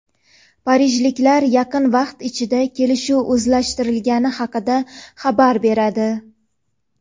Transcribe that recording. parijliklar yaqin vaqt ichida kelishuv uzaytirilgani haqida xabar beradi.